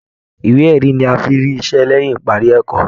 Ìwé erí ní a fí n rí iṣẹ lẹyìn ìparí ẹ̀kọ́.